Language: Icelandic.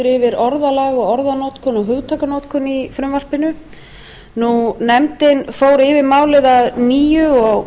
yfir orðalag og orðanotkun og hugtakanotkun í frumvarpinu nefndin fór yfir málið að nýju